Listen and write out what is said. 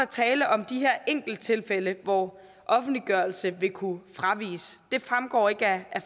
tale om de her enkelttilfælde hvor offentliggørelse vil kunne fraviges det fremgår ikke af